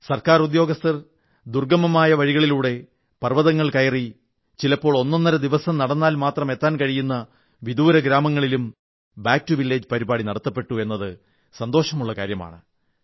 government ഉദ്യോഗസ്ഥർ ദുർഗ്ഗമമായ വഴിയിലൂടെ പർവ്വതങ്ങൾ കയറി ചിലപ്പോൾ ഒന്നൊന്നര ദിവസം നടന്നാൽ മാത്രം എത്താൻ കഴിയുന്ന വിദൂര ഗ്രാമങ്ങളിലും ബാക്ക് ടോ വില്ലേജ് പരിപാടി സംഘടിപ്പിച്ചു എന്നത് നടത്തപ്പെട്ടു എന്നത് സന്തോഷമുള്ള കാര്യമാണ്